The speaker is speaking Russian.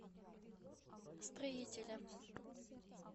строителя